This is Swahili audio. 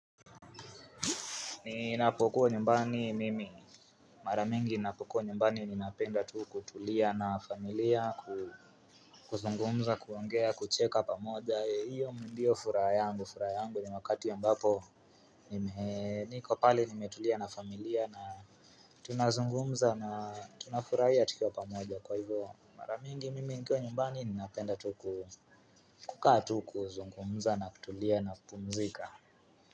Ninapokuwa nyumbani mimi, mara mingi ninapokuwa nyumbani ninapenda tu kutulia na familia, kuzungumza, kuongea, kucheka pamoja, hiyo ndiyo furaha yangu, furaha yangu ni wakati ambapo niko pale nimetulia na familia na tunazungumza na tunafurahia tukiwa pamoja kwa hivyo mara mingi mimi niko nyumbani ninapenda tu kukaa tu kuzungumza na kutulia na kupumzika.